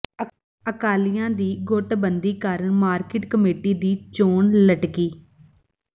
ਅਕਾਲੀਆਂ ਦੀ ਗੁੱਟਬੰਦੀ ਕਾਰਨ ਮਾਰਕੀਟ ਕਮੇਟੀ ਦੀ ਚੋਣ ਲਟਕੀ